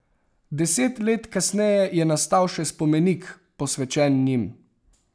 Deset let kasneje je nastal še spomenik, posvečen njim.